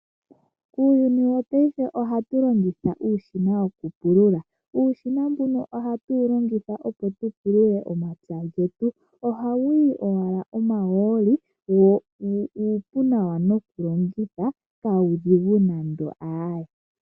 Uuyuni wopaife ohatu longitha uushina wokupulula. Uushina mbuno ohatu wu longitha opo tu pulula omapya getu. Ohawu yi owala omahooli wo uupu nawa nokulongitha kawudhigu nande aae.